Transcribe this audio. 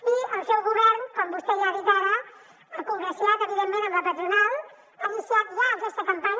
i el seu govern com vostè ja ha dit ara s’ha congraciat evidentment amb la patronal ha iniciat ja aquesta campanya